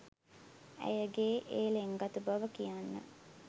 ඇයගේඒ ලෙන්ගතු බව කියන්න